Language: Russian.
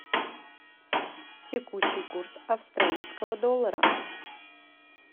текущий курс австралийского доллара